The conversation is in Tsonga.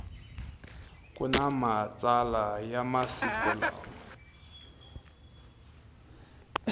kuna matsalwa ya masiku lawa